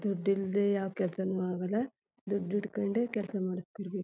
ದುಡ್ಡಿಲ್ದೆ ಯಾವ ಕೆಲಸನು ಅಗಲದುಡ್ಡ್ ಇಟ್ಕೊಂಡೇ ಕೆಲಸ ಮಾಡ್ಸತಿರ್ಬೇಕು.